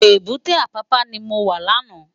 Ébùté Apapa ni mó wá làná